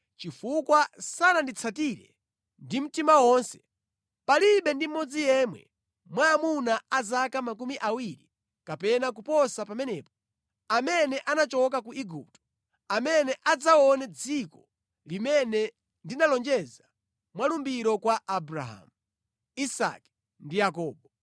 ‘Chifukwa sananditsatire ndi mtima wonse, palibe ndi mmodzi yemwe mwa amuna a zaka makumi awiri kapena kuposa pamenepo, amene anachokera ku Igupto, amene adzaone dziko limene ndinalonjeza mwa lumbiro kwa Abrahamu, Isake ndi Yakobo.